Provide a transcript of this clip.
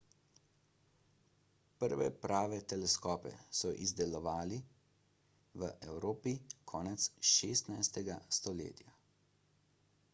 prve prave teleskope so izdelovali v evropi konec 16 stoletja